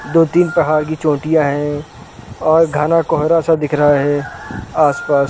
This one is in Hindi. दो-तीन पहाड़ की चोटियाँ हैं और गहना कोहरा सा दिख रहा है आस-पास।